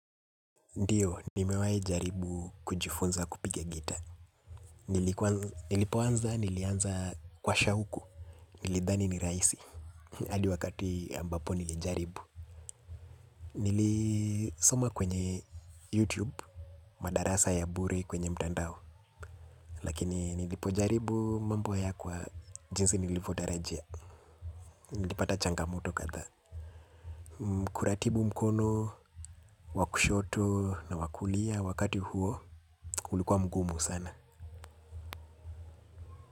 Ndiyo, nimewahi jaribu kujifunza kupiga gitaa. Nilipoanza, nilianza kwa shauku. Nilidhani ni rahisi. Hadi wakati ambapo nilijaribu. Nilisoma kwenye YouTube, madarasa ya bure kwenye mtandao. Lakini nilipojaribu mambo hayakuwa jinsi nilivyotarajia. Nilipata changamoto kadhaa. Kuratibu mkono wa kushoto na wa kulia wakati huo, ulikuwa mgumu sana.